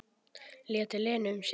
Lét Lenu um sitt.